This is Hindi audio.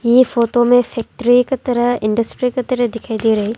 ये फोटो में फैक्ट्री का तरह इंडस्ट्री का तरह दिखाई दे रही--